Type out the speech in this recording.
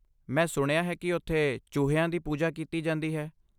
ਮੈਂ ਸੁਣਿਆ ਹੈ ਕਿ ਉਥੇ ਚੂਹਿਆਂ ਦੀ ਪੂਜਾ ਕੀਤੀ ਜਾਂਦੀ ਹੈ!